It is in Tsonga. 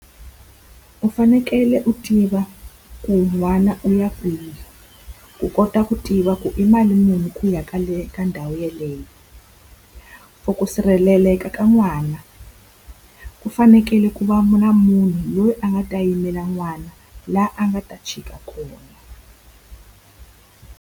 U fanekele u tiva ku n'wana u ya kwihi, ku kota ku tiva ku i mali muni ku ya ka kwale ka ndhawu yeleyo. For ku sirheleleka ka n'wana, ku fanekele ku va na munhu loyi a nga ta yimela n'wana laha a nga ta chika kona.